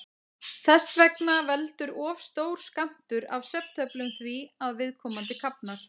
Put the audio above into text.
Þess vegna veldur of stór skammtur af svefntöflum því að viðkomandi kafnar.